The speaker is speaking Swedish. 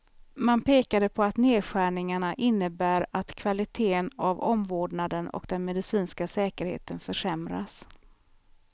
Man pekade på att nedskärningarna innebär att kvaliteten av omvårdnaden och den medicinska säkerheten försämras.